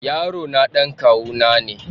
Yarona dan kawu na ne.